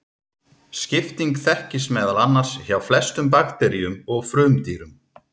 Skipting þekkist meðal annars hjá flestum bakteríum og frumdýrum.